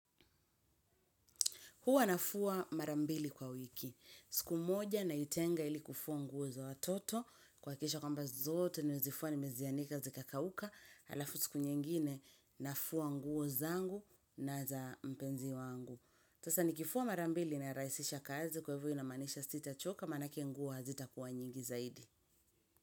Hua nafua mara mbili kwa wiki. Siku moja naitenga ili kufua nguo za watoto, kuhakikisha kwamba zote nimezifua nimezianika zikakauka, halafu siku nyingine nafua nguo zangu na za mpenzi wangu. Sasa nikifua mara mbili na rahisisha kazi kwa hivo inamaanisha sitachoka, manake nguo hazitakuwa nyingi zaidi.